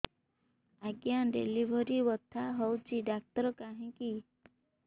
ଆଜ୍ଞା ଡେଲିଭରି ବଥା ହଉଚି ଡାକ୍ତର କାହିଁ କି